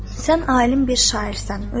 Sən alim bir şairsən.